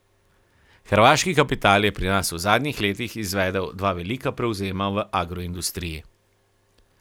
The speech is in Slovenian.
Hrvaški kapital je pri nas v zadnjih letih izvedel dva velika prevzema v agroindustriji.